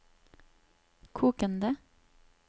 kokende